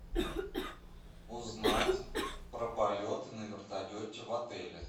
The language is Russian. узнать про полеты на вертолете в отеле